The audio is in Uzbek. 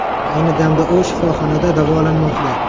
Ayni damda u shifoxonada davolanmoqda.